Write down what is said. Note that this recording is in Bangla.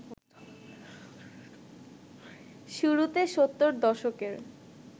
শুরুতে সত্তর দশকের